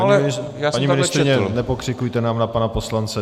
Paní ministryně, nepokřikujte nám na pana poslance.